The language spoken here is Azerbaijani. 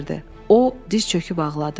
O diz çöküb ağladı.